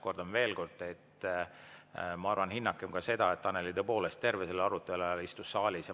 Kordan veel kord: hinnakem seda, et Annely tõepoolest terve selle arutelu ajal istus saalis.